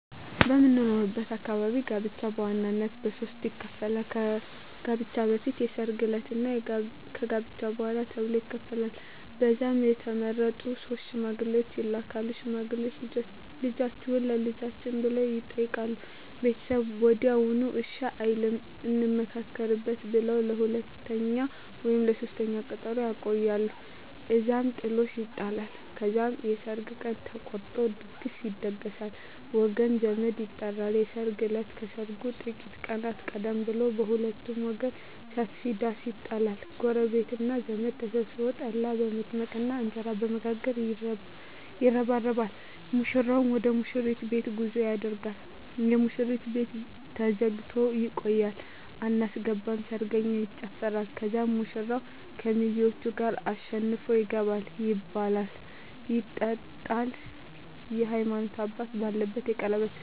በምኖርበት አካባቢ ጋብቻ በዋናነት በሦስት ይከፈላል። ከጋብቻ በፊት፣ የሰርግ ዕለት እና ከጋብቻ በኋላ ተብሎ ይከፈላል። ከዛም የተመረጡ ሶስት ሽማግሌዎች ይላካሉ። ሽማግሌዎቹ "ልጃችሁን ለልጃችን" ብለው ይጠይቃሉ። ቤተሰብ ወዲያውኑ እሺ አይልም፤ "እንመካከርበት" ብለው ለሁለተኛ ወይም ለሦስተኛ ቀጠሮ ያቆያሉ። እዛም ጥሎሽ ይጣላል። ከዛም የሰርግ ቀን ተቆርጦ ድግስ ይደገሳል፣ ወገን ዘመድ ይጠራል። የሰርግ እለት ከሰርጉ ጥቂት ቀናት ቀደም ብሎ በሁለቱም ወገን ሰፊ ዳስ ይጣላል። ጎረቤትና ዘመድ ተሰብስቦ ጠላ በመጥመቅና እንጀራ በመጋገር ይረባረባል። ሙሽራው ወደ ሙሽሪት ቤት ጉዞ ያደርጋል። የሙሽሪት ቤት ተዘግቶ ይቆያል። አናስገባም ሰርገኛ ይጨፋራል። ከዛም ሙሽራው ከሚዜዎቹ ጋር አሸንፎ ይገባል። ይበላል ይጠጣል፣ የሀይማኖት አባት ባለበት የቀለበት ስነ ስሮአት ይሆናል